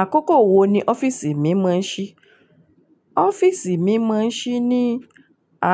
Àkókò wo ni ọ́fìsì mí mọ̀ ṣí? Ọ́fìsì mí mọ̀ ṣí ní